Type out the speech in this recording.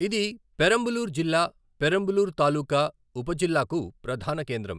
ఇది పెరంబలూర్ జిల్లా, పెరంబలూర్ తాలూకా, ఉప జిల్లాకు ప్రధాన కేంద్రం.